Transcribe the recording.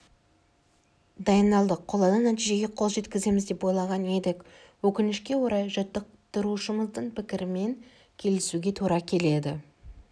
дайындалдық қолайлы нәтижеге қол жеткіземіз деп ойлаған едік өкінішке орай жаттықтырушымыздың пікірімен келісуге тура келеді